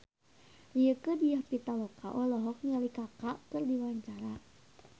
Rieke Diah Pitaloka olohok ningali Kaka keur diwawancara